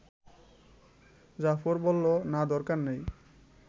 জাফর বলল, না দরকার নাই